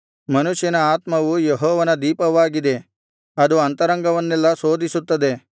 ಮನುಷ್ಯನ ಆತ್ಮವು ಯೆಹೋವನ ದೀಪವಾಗಿದೆ ಅದು ಅಂತರಂಗವನ್ನೆಲ್ಲಾ ಶೋಧಿಸುತ್ತದೆ